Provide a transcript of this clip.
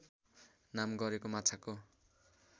नाम गरेको माछाको